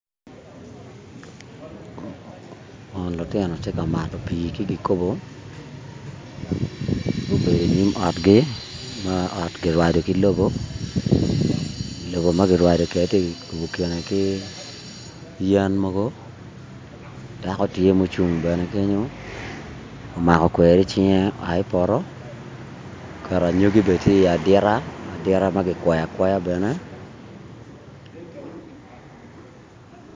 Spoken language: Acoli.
Eni lutino tye ka mato pii ki kikopo gubedo inyim otgi ma ot kirwado ki lobo lobo ma kirwado kedi kirubo kine ki yen mogo dako tye mucung bene kenyo omako kweri icinge oa ki i poto oketo anyogi bene tye iyi adita adita ma kikwoyo akwoya bene